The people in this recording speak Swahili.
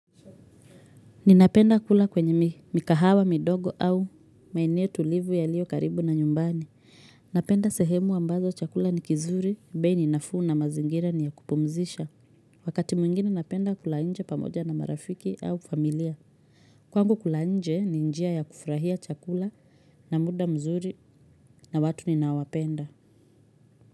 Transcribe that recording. Ninapenda kula kwenye mikahawa, midogo au maeneo tulivu yaliyo karibu na nyumbani. Napenda sehemu ambazo chakula ni kizuri, bei ni nafuu na mazingira ni ya kupumzisha. Wakati mwingine napenda kula nje pamoja na marafiki au familia. Kwangu kula nje ni njia ya kufurahia chakula na muda mzuri na watu ninao wapenda.